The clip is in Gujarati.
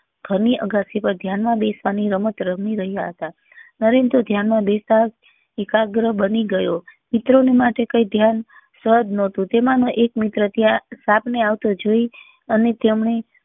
ઘર ની અગાસી પર ધ્યાન માં બિસ્વા ની રમત રમી રહ્યા હતા નરેન માં તો ધ્યાન માં બેસતા જ એકાગ્રત બની ગયો મિત્રો ને માટે કઈ ધ્યાન સાધ નતું તેમનો એક મિત્ર ત્યાં સાપ ને આવતો જોઈ